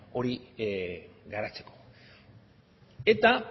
hori garatzeko eta